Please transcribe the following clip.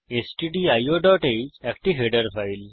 stdioহ্ একটি header file